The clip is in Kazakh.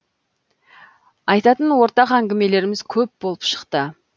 айтатын ортақ әңгімелеріміз көп болып шықты